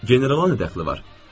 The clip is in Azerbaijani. Generala nə dəxli var?